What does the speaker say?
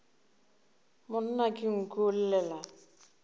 monna ke nku o llela